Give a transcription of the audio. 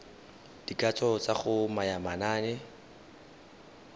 dikatso tsa go naya manane